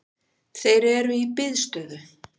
Þeir eru í biðstöðu